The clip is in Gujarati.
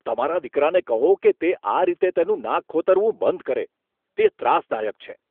તમારા દીકરાને કહો કે તે આ રીતે તેનું નાક ખોતરવું બંધ કરે. તે ત્રાસદાયક છે.